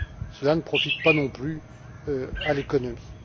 Cela ne profite pas non plus à l'économie.